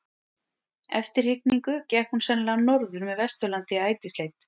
Eftir hrygningu gekk hún sennilega norður með Vesturlandi í ætisleit.